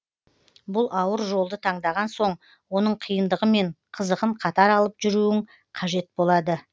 бұл ауыр жолды таңдаған соң оның қиындығы мен қызығын қатар алып жүруің қажет болады